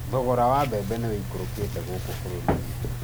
Thogora wa mbembe nĩ wĩikũrũkĩte gũkũ bũrũri-inĩ